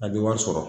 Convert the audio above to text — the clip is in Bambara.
A bɛ wari sɔrɔ